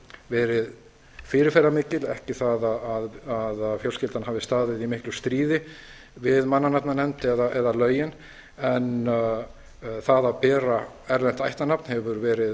verið fyrirferðarmikil ekki það að fjölskyldan hafi staðið í miklu stríði við mannanafnanefnd eða lögin en það að bera erlent ættarnafn hefur verið